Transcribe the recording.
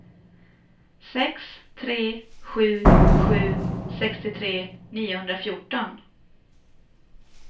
sex tre sju sju sextiotre niohundrafjorton